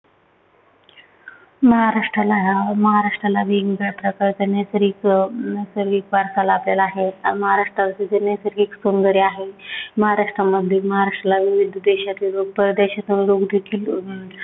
महाराष्ट्राला हा महाराष्ट्राला वेगवेगळया प्रकारचा नैसर्गिक अं नैसर्गिक वारसा लाभलेला आहे. महाराष्ट्राला जे नैसर्गिक सौंदर्य आहे, महाराष्ट्रामध्ये महाराष्ट्राला विविध देशातील लोक प्रदेशातील लोक फिरतात.